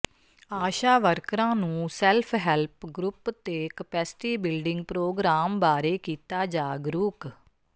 ਆਸ਼ਾ ਵਰਕਰਾਂ ਨੂੰ self help group ਤੇ ਕਪੈਸਟੀ ਬਿਲਡਿੰਗ ਪ੍ਰੋਗਰਾਮ ਬਾਰੇ ਕੀਤਾ ਜਾਗਰੂਕ